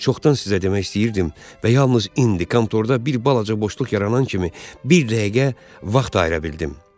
Çoxdan sizə demək istəyirdim və yalnız indi, kontorda bir balaca boşluq yaranan kimi bir dəqiqə vaxt ayıra bildim.